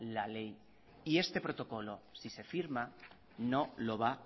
la ley y este protocolo si se firma no lo va